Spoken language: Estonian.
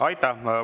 Aitäh!